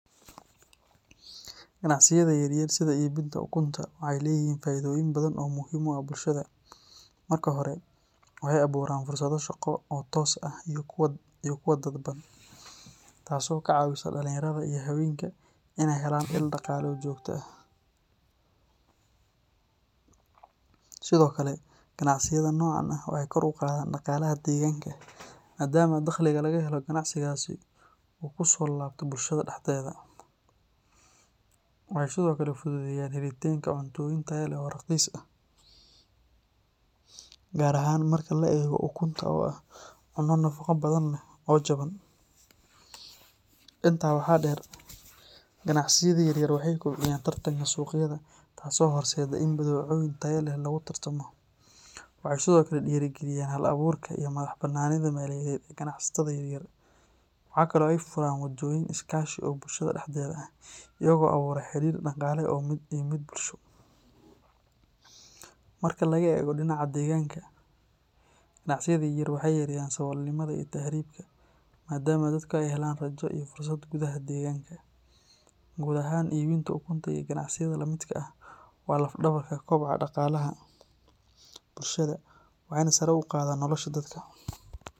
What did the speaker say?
Ganacsiyada yar yar sida iibinta ukunta waxay leeyihiin faa’iidooyin badan oo muhiim u ah bulshada. Marka hore, waxay abuuraan fursado shaqo oo toos ah iyo kuwo dadban, taasoo ka caawisa dhalinyarada iyo haweenka inay helaan il dhaqaale oo joogto ah. Sidoo kale, ganacsiyada noocan ah waxay kor u qaadaan dhaqaalaha deegaanka maadaama dakhliga laga helo ganacsigaasi uu kusoo laabto bulshada dhexdeeda. Waxay sidoo kale fududeeyaan helitaanka cuntooyin tayo leh oo raqiis ah, gaar ahaan marka la eego ukunta oo ah cunno nafaqo badan leh oo jaban. Intaa waxaa dheer, ganacsiyada yaryar waxay kobciyaan tartanka suuqyada taasoo horseedda in badeecooyin tayo leh lagu tartamo. Waxay sidoo kale dhiirrigeliyaan hal-abuurka iyo madax-bannaanida maaliyadeed ee ganacsatada yaryar. Waxa kale oo ay furaan waddooyin iskaashi oo bulshada dhexdeeda ah, iyagoo abuura xidhiidh dhaqaale iyo mid bulsho. Marka laga eego dhinaca deegaanka, ganacsiyada yaryar waxay yareeyaan saboolnimada iyo tahriibka maadaama dadku ay helaan rajo iyo fursado gudaha deegaanka. Guud ahaan, iibinta ukunta iyo ganacsiyada la midka ah waa laf-dhabarta kobaca dhaqaalaha bulshada waxayna sare u qaadaan nolosha dadka.